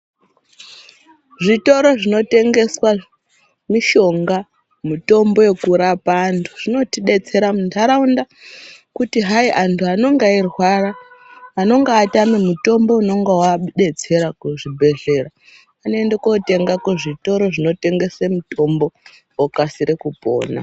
Zvitoro zvinotengeswa mishonga mitombo yokurapa antu zvinotidetsera muntaraunda kuti hayi andu anenge eyirwara anenge atama mutombo unenge wamudetsera kuzvibhedhlera anoenda kundotenga kuzvitoro zvinotengesa mutombo okasire kupona.